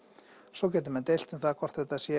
svo geta menn deilt um það hvort þetta sé